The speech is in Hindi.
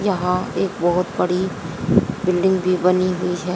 यहां एक बहोत बड़ी बिल्डिंग भी बनी हुई है।